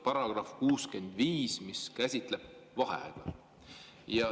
Paragrahv 65 käsitleb vaheaega.